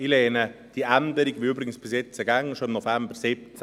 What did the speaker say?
Ich lehne die Änderung ab, übrigens wie bisher, wie bereits im November 2017.